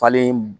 Falen